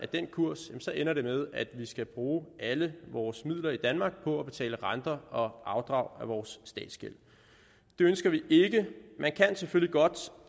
den kurs ender det med at vi skal bruge alle vores midler i danmark på at betale renter og afdrag af vores statsgæld det ønsker vi ikke man kan selvfølgelig godt